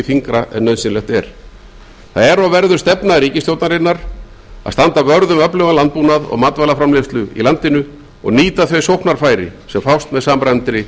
þyngra en nauðsynlegt er það er og verður stefna ríkisstjórnarinnar að standa vörð um öflugan landbúnað og matvælaframleiðslu í landinu og nýta þau sóknarfæri sem fást með samræmdri